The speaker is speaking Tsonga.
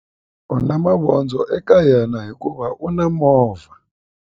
U na mavondzo eka yena hikuva u na movha.